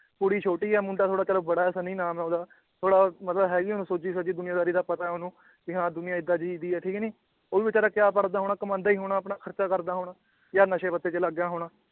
ਕੁੜੀ ਛੋਟੀ ਏ ਮੁੰਡਾ ਥੋੜਾ ਚਲੋ ਬੜਾ ਏ ਸਨੀ ਨਾਮ ਏ ਓਹਦਾ ਥੋੜਾ ਮਤਲਬ ਹੈ ਵੀ ਓਹਨੂੰ ਸੁਝੀ ਸਾਝੀ ਦੁਨੀਆਦਾਰੀ ਦਾ ਪਤਾ ਏ ਓਹਨੂੰ ਵੀ ਹਾਂ ਦੁਨੀਆਂ ਏਦਾਂ ਦੀ ਦੀ ਏ ਠੀਕ ਨੀ ਉਹ ਵੀ ਬਿਚਾਰਾ ਕਯਾ ਪੜ੍ਹਦਾ ਹੋਣਾ ਕਮਾਂਦਾ ਈ ਹੋਣਾ ਆਪਣਾ ਖਰਚਾ ਕਰਦਾ ਹੋਣਾ ਯਾਂ ਨਸ਼ੇ ਪੱਤੇ ਚ ਲੱਗ ਗਿਆ ਹੋਣਾ